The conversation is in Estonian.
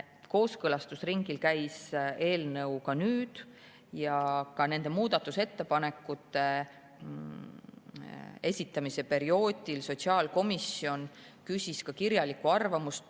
Kooskõlastusringil käis eelnõu nüüdki ja nende muudatusettepanekute esitamise perioodil sotsiaalkomisjon küsis ka kirjalikke arvamusi.